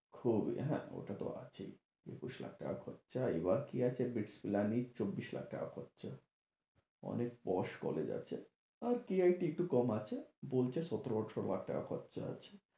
খুবই হ্যাঁ, ওটাতো আছেই একুশ লাখ খরচা। এবার কি আছে চব্বিশ লাখ টাকা খরচা। অনেক posh college আছে। আর CIT একটু কম আছে বলছে সতেরো আঠারো লাখ টাকা খরচা আছে।